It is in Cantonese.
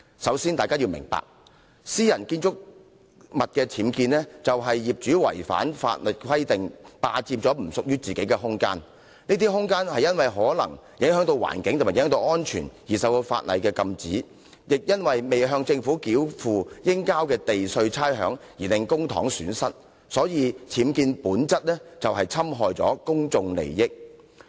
首先，大家要明白，私人建築物的僭建代表業主違反法例，霸佔並不屬於自己的空間，而這些空間有可能是因影響環境或安全而受法例禁止，或因未向政府繳付應繳交的地價差餉而令公帑蒙受損失，所以僭建本身就是侵害公眾利益。